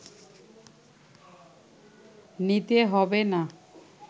নিতে হবে না